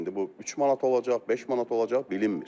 İndi bu 3 manat olacaq, 5 manat olacaq, bilinmir.